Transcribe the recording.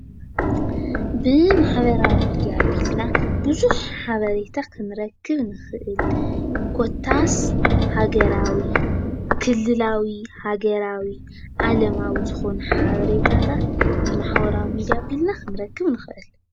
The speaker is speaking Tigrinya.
ብማሕበራዊ ሚድያ ኣቢልና ብዙሕ ሓበሬታ ክንረክብ ንኽእል። ኮታስ ሃገራዊ ፣ክልላዊ ፣ ሃገራዊ ፣ዓለማዊ ዝኾኑ ሓበሬታት ብማሕበራዊ ሚድያ ኣቢልና ኽንረክብ ንኽእል።